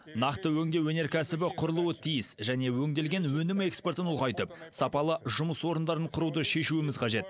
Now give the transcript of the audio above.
нақты өңдеу өнеркәсібі құрылуы тиіс және өңделген өнім экспортын ұлғайтып сапалы жұмыс орындарын құруды шешуіміз қажет